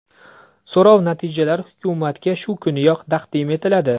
So‘rov natijalari hukumatga shu kuniyoq taqdim etiladi.